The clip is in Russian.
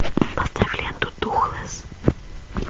поставь ленту духлесс